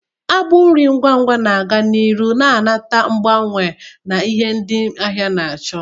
Agbụ nri ngwa ngwa na-aga n'ihu na-anata agbanwe na ihe ndị ahịa na-achọ,